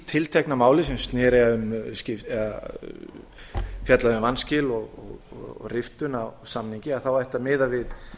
tiltekna máli sem fjallaði um vanskil og riftun á samningi þá ætti að miða við